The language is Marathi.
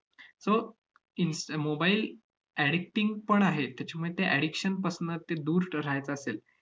so इन्स~ mobile addicting पण आहेत. त्याच्यामुळे त्या addiction पासनं ते दूर ठ~ राहायचं असेल,